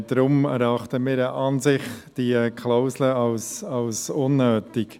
Deswegen erachten wir die Klausel als unnötig.